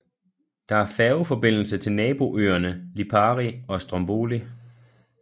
Der er færgeforbindelse til naboøerne Lipari og Stromboli